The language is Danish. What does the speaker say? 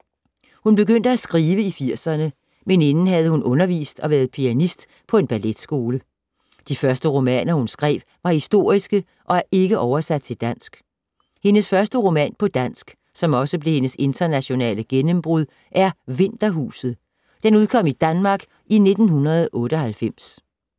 Hun begyndte at skrive i 80’erne, men inden havde hun undervist og været pianist på en balletskole. De første romaner, hun skrev, var historiske og er ikke oversat til dansk. Hendes første roman på dansk, som også blev hendes internationale gennembrud, er Vinterhuset. Den udkom i Danmark i 1998.